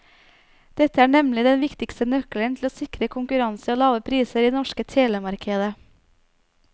Dette er nemlig den viktigste nøkkelen til å sikre konkurranse og lave priser i det norske telemarkedet.